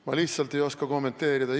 Ma lihtsalt ei oska kommenteerida.